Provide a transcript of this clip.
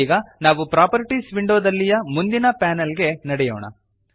ಇದೀಗ ನಾವು ಪ್ರಾಪರ್ಟೀಸ್ ವಿಂಡೋದಲ್ಲಿಯ ಮುಂದಿನ ಪ್ಯಾನಲ್ ಗೆ ನಡೆಯೋಣ